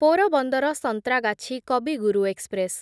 Porbandar Santragachi Kavi Guru express